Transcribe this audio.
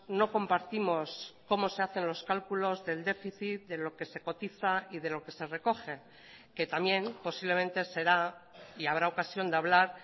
no compartimos cómo se hacen los cálculos del déficit de lo que se cotiza y de lo que se recoge que también posiblemente será y habrá ocasión de hablar